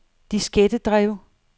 diskettedrev